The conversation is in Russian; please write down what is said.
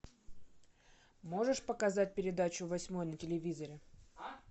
можешь показать передачу восьмой на телевизоре